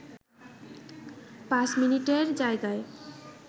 পাঁচ মিনিটের জায়গায়